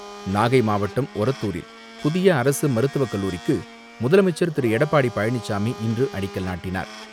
நாகை மாவட்டம் ஒரத்தூரில் புதிய அரசுமருத்துவக் கல்லூரிக்கு முதலமைச்சர் திரு எடப்பாடி பழனிசாமி இன்று அடிக்கல் நாட்டினார்.